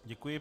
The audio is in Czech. Děkuji.